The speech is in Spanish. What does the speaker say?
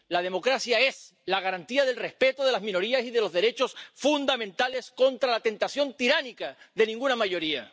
La democracia es la garantía del respeto de las minorías y de los derechos fundamentales contra la tentación tiránica de ninguna mayoría.